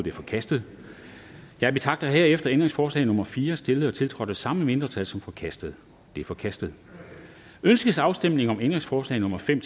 er forkastet jeg betragter herefter ændringsforslag nummer fire stillet og tiltrådt af de samme mindretal som forkastet det er forkastet ønskes afstemning om ændringsforslag nummer fem